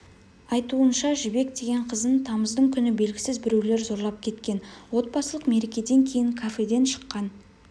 айтуынша жібек деген қызын тамыздың күні белгісіз біреулер зорлап кеткен отбасылық мерекеден кейін кафеден шыққан